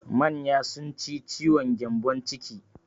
Manya sun ci ciwon gyambon ciki.